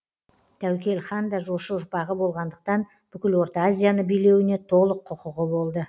тәуекел хан да жошы ұрпағы болғандықтан бүкіл орта азияны билеуіне толық құқығы болды